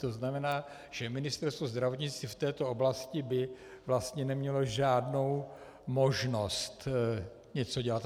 To znamená, že Ministerstvo zdravotnictví v této oblasti by vlastně nemělo žádnou možnost něco dělat.